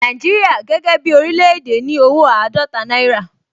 Nàìjíríà gẹ́gẹ́ bí oríléèdè ní owó àádọ́ta náírà